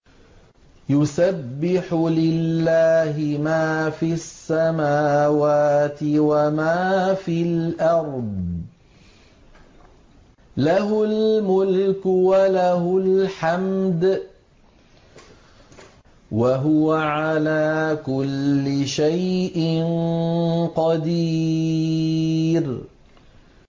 يُسَبِّحُ لِلَّهِ مَا فِي السَّمَاوَاتِ وَمَا فِي الْأَرْضِ ۖ لَهُ الْمُلْكُ وَلَهُ الْحَمْدُ ۖ وَهُوَ عَلَىٰ كُلِّ شَيْءٍ قَدِيرٌ